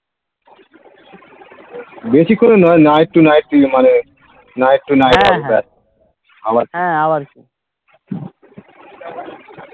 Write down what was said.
বেশিক্ষণের নয় night to night মানে night to night আবার কি